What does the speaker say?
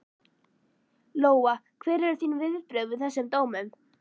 Lóa: Hver eru þín viðbrögð við þessum dómum?